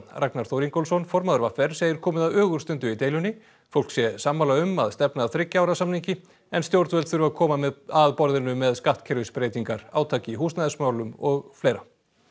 Ragnar Þór Ingólfsson formaður v r segir komið að ögurstundu í deilunni fólk sé sammála um að stefna að þriggja ára samningi en stjórnvöld þurfi að koma að borðinu með skattkerfisbreytingar átak í húsnæðismálum og fleira